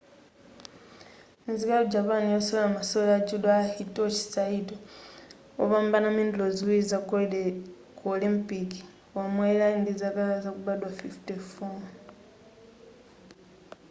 nzika yaku japan yosewera masewero a judo a hitoshi saito wopambana mendulo ziwiri za golide ku olympic wamwalira ali ndi zaka zakubadwa 54